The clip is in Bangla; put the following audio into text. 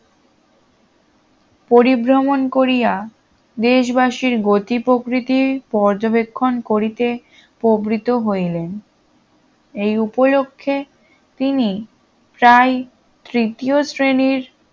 পরিভ্রমন করিয়া দেশবাসীর গতি প্রকৃতির পর্যবেক্ষণ করিতে প্রবৃত হইলেন এই উপলক্ষে তিনি তাই তৃতীয় শ্রেণীর